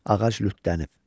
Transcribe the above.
Ağac lütdənib.